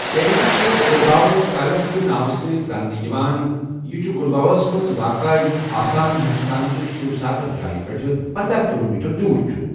Carrying چھُ Garhgaon palace کہِ ناوٕ سۭتۍ زاننہٕ یِوان، چھُ گڑھگاؤس مَنٛز واقعہٕ یُس آسام، ہندوستان چہِ شیوساگر جایہ پٮ۪ٹھ پنَداہَ کلومیٹر دور چھُ ۔